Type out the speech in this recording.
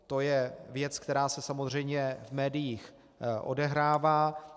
To je věc, která se samozřejmě v médiích odehrává.